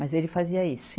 Mas ele fazia isso.